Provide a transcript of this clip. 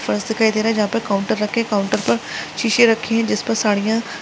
फर्श दिखाई दे रहा है जहां पर काउंटर रखे काउंटर पर सीसे रखी है जिस पर साड़ियां--